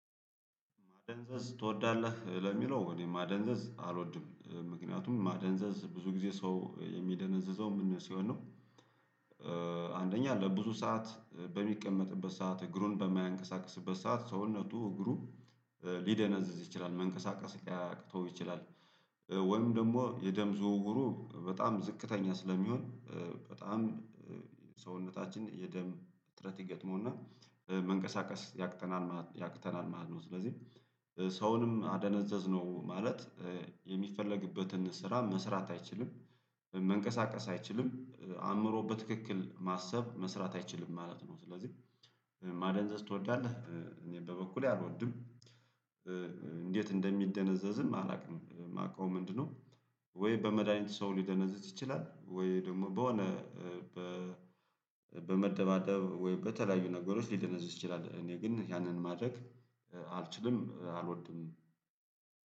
ማደንዘዝ ትወዳለህ ለሚለው እኔ ማደንዘዝ አልወድም ምክንያቱም ማደንዘዝ ብዙ ጊዜ ሰው የሚደነዝዘው ምን ሲሆን ነው አንደኛ ለብዙ ሰዓት በሚቀመጥበት ሰዓት፣ እግሩን በማያንቀሳቅስበት ሰዓት ሰውነቱ እግሩ ሊደነዝዝ ይችላል መንቀሳቀስ ሊያቅተው ይችላል፤ ወይም ደግሞ የደም ዝውውሩ በጣም ዝቅተኛ ስለሚሆን በጣም ሰውነታችን የደም እጥረት ይገጥመውና መንቀሳቀስ ያቅተናል ያክተናል ማለት ነው ስለዚህ ሰውንም አደነዘዝነው ማለት የሚፈለግበትን ስራ መስራት አይችልም መንቀሳቀስ አይችልም አእምሮ በትክክል ማሰብ መስራት አይችልም ማለት ነው ስለዚህ ማደንዘዝ ትወዳለህ እኔ በበኩሌ አልወድም እንዴት እንደሚደነዘዝም አላውቅም የማውቀው ምንድነው ወይ በመድሃኒት ሰው ሊደነዝዝ ይችላል ወይ ደግሞ በሆነ በመደባደብ ወይም በተለያዩ ነገሮች ሊደነዝዝ ይችላል እኔ ግን ያንን ማድረግ አልችልም አልወድም።